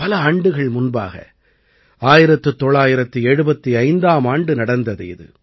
பல ஆண்டுகள் முன்பாக 1975ஆம் ஆண்டு நடந்தது இது